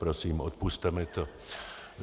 Prosím, odpusťte mi to.